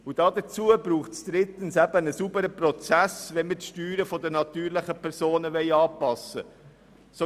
Drittens braucht es einen sauberen Prozess, wenn wir die Steuern der natürlichen Personen anpassen wollen.